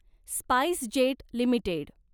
SpiceJet limited